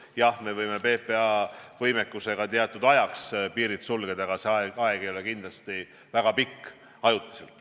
Jah, me võime PPA võimekusega teatud ajaks piirid sulgeda, aga see aeg ei ole kindlasti väga pikk.